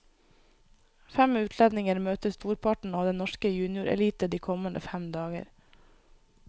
Fem utlendinger møter storparten av den norske juniorelite de kommende fem dager.